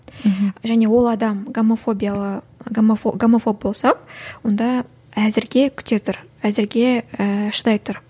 және ол адам гомофобиялы гомофоб болса онда әзірге күте тұр әзірге ііі шыдай тұр